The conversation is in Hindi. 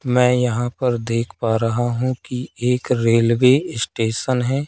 मैं यहां पर देख पा रहा हूं कि एक रेलवे स्टेशन है।